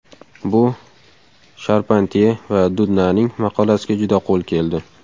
Bu Sharpantye va Dudnaning maqolasiga juda qo‘l keldi.